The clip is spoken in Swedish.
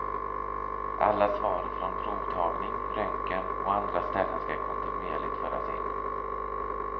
Alla svar från provtagning, röntgen och andra ställen skall kontinuerligt föras in.